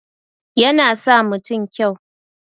Yana sa mutun kyau